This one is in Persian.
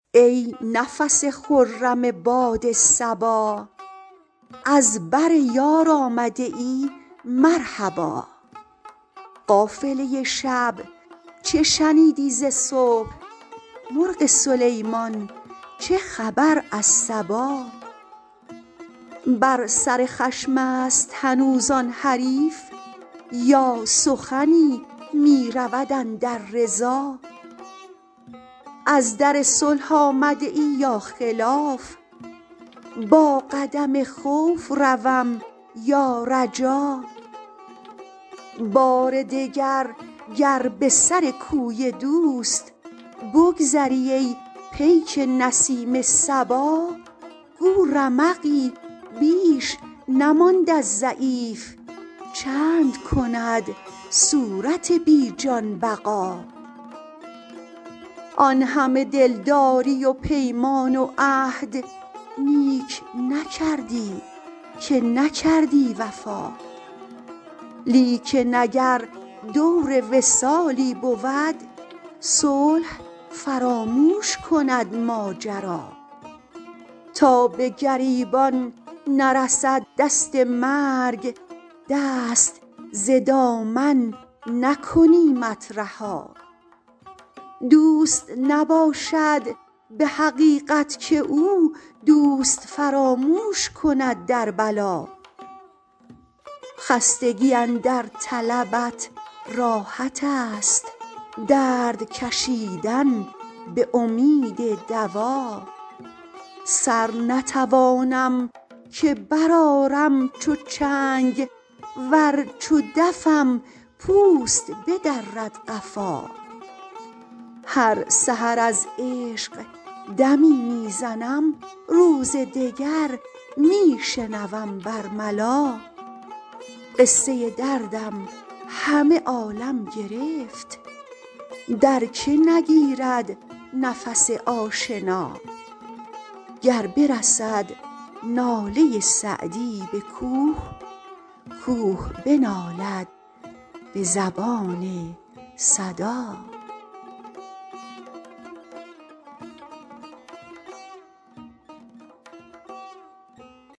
ای نفس خرم باد صبا از بر یار آمده ای مرحبا قافله شب چه شنیدی ز صبح مرغ سلیمان چه خبر از سبا بر سر خشم است هنوز آن حریف یا سخنی می رود اندر رضا از در صلح آمده ای یا خلاف با قدم خوف روم یا رجا بار دگر گر به سر کوی دوست بگذری ای پیک نسیم صبا گو رمقی بیش نماند از ضعیف چند کند صورت بی جان بقا آن همه دلداری و پیمان و عهد نیک نکردی که نکردی وفا لیکن اگر دور وصالی بود صلح فراموش کند ماجرا تا به گریبان نرسد دست مرگ دست ز دامن نکنیمت رها دوست نباشد به حقیقت که او دوست فراموش کند در بلا خستگی اندر طلبت راحت است درد کشیدن به امید دوا سر نتوانم که برآرم چو چنگ ور چو دفم پوست بدرد قفا هر سحر از عشق دمی می زنم روز دگر می شنوم بر ملا قصه دردم همه عالم گرفت در که نگیرد نفس آشنا گر برسد ناله سعدی به کوه کوه بنالد به زبان صدا